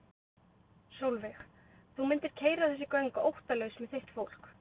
Sólveig: Þú mundir keyra þessi göng óttalaus með þitt fólk?